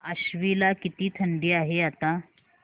आश्वी ला किती थंडी आहे आता